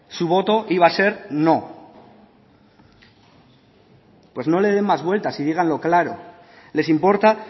su voto iba a ser no pues no le dé más vueltas y díganlo bien claro les importa